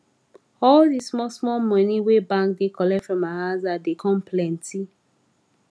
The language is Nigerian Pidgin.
all d small small money wey bank da comot from my aza da come plenty